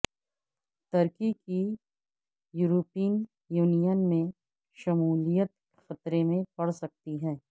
ترکی کی European Union میں شمولیت خطرے میں پڑسکتی ہے